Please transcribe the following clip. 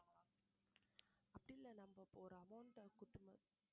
அப்டில்ல நம்ம ஒரு amount அங்க குடுத்துறணும்